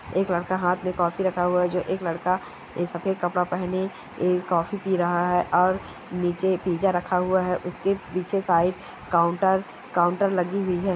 एक लड़का हाथ में कॉफी रखा हुआ है जो एक लड़का एक सफेद कपड़ा पहने एक कॉफी पी रहा है और नीचे पिज़्ज़ा रखा हुआ है। उसके पीछे शायद काउंटर काउंटर लगी हुई है।